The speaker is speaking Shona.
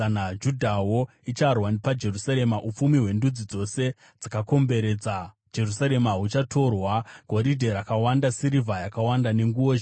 Judhawo icharwa paJerusarema. Upfumi hwendudzi dzose dzakakomberedza Jerusarema huchatorwa, goridhe rakawanda, sirivha yakawanda nenguo zhinji.